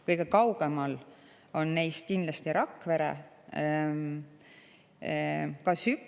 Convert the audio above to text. Kõige kaugemal on neist kindlasti Rakvere.